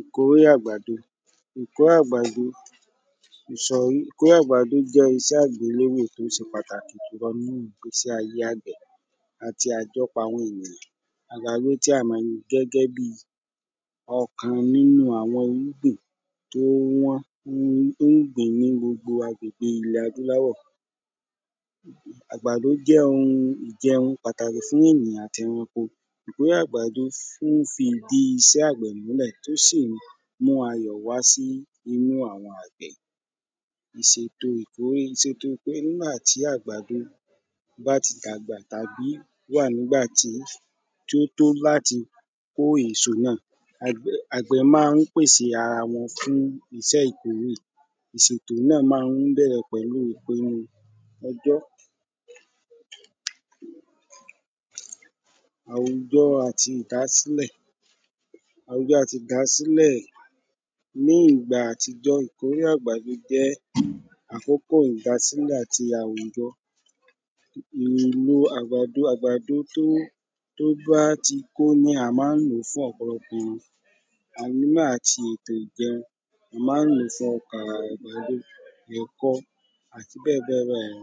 Ìkórè àgbàdo Ìkórè àgbàdo ìsòrí ìkórè àgbàdo jẹ́ iṣẹ agbelerè tó ṣe pàtàkì nínú ìgbésí ayé àgbẹ̀ àti àjọpọ̀ àwọn èyàn àgbàdo tí a mọ̀ ni gẹ́gẹ́ bí okàn nínú àwọn irúgbìn tó wọ́n tó ń pé ní gbogbo agbègbè ilẹ̀ adúláwọ̀ àgbàdo jẹ́ um óunjẹ pàtàkì sí ènìyàn àti ẹranko ní àgbàdo ó ń fi ìdi iṣẹ́ àgbẹ̀ mú lẹ̀ ó sì ń mú ayọ̀ wá sí inú àwọn àgbẹ̀ ìṣèto ìkórè, ìṣèto ìkórè nígbà tí àgbàdo bá ti dàgbà ká gbí wà nígbà tí tí ó tó láti kó èso náà àgbẹ má ń pèsè ara wọn fún iṣé ìkórè ìṣètò náà má ń bẹ̀rẹ̀ pẹ̀lú ìpinu ọjọ́ àwùjọ àti ìdásíḷẹ̀ àwùjọ àti ìdásílẹ̀ ní ìgbà àtijọ́ ìkórè àgbàdo jẹ́ àkókò ìdásílẹ̀ àti àwùjọ èlo àgbàdo tó tó bá ti òun ni à má ń lò fún ọ̀pọ̀lọpọ̀ èyàn a le má ṣe ètò ìjẹun a má ń lò fú ọkà àgbàdo ẹ̀kọ àti bẹ́ẹ̀ bẹ́ẹ̀ bẹ́ẹ̀ lọ